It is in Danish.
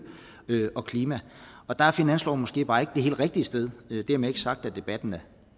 og klima der er finansloven måske bare ikke det helt rigtige sted men dermed ikke sagt at debatten